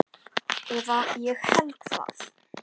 Eða ég held það.